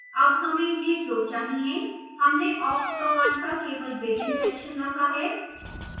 awk हमें यह क्यों चाहिए हमने awk command का केवल begin section रखा है